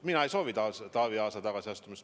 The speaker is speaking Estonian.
Mina ei soovi Taavi Aasa tagasiastumist.